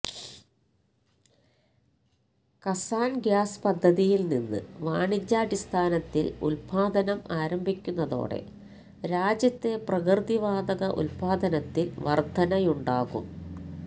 കസ്സാന് gas പദ്ധതിയില്നിന്ന് വാണിജ്യാടിസ്ഥാനത്തില് ഉല്പാദനം ആരംഭിക്കുന്നതോടെ രാജ്യത്തെ പ്രകൃതിവാതക ഉല്പാദനത്തില് വര്ധനയുണ്ടാകും